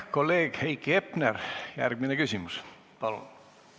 Kolleeg Heiki Hepner, järgmine küsimus, palun!